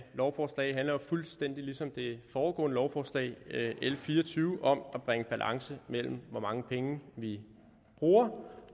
lovforslag handler jo fuldstændig ligesom det foregående lovforslag l fire og tyve om at bringe balance mellem hvor mange penge vi bruger